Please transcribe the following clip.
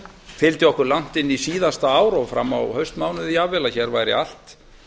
fylgdi okkur langt inn í síðasta ár og fram á haustmánuði jafnvel að hér væri allt